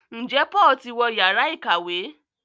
Njé Paul tí wọ Yàrá ìkàwé?